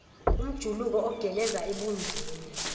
umjuluko ogeleza ebunzini